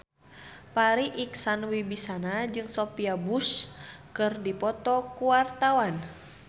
Farri Icksan Wibisana jeung Sophia Bush keur dipoto ku wartawan